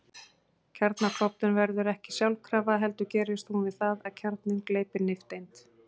Kjarnaklofnun verður ekki sjálfkrafa heldur gerist hún við það að kjarninn gleypir nifteind.